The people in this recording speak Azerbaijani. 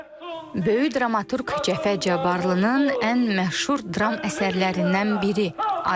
Böyük dramaturq Cəfər Cabbarlının ən məşhur dram əsərlərindən biri Aydın.